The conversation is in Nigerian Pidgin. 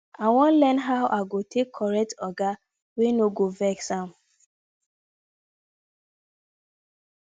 i wan learn how i go take correct oga wey no go vex am